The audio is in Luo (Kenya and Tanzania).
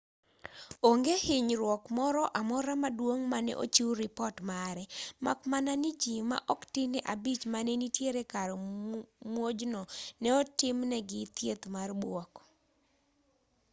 onge hinyruok moro amora maduong' mane ochiw ripot mare mak mana ni ji ma oktin ne abich mane nitiere kar muojno ne otimnegi thieth mar buok